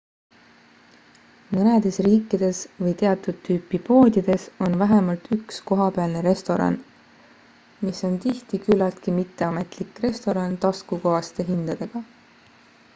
mõnedes riikides või teatud tüüpi poodides on vähemalt üks kohapealne restoran mis on tihti küllaltki mitteametlik restoran taskukohaste hindadega